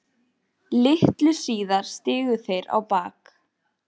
Litlu síðar stigu þeir á bak.